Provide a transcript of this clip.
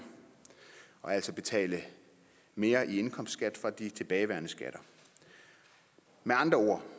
og altså betale mere i indkomstskat fra de tilbageværende skatter med andre ord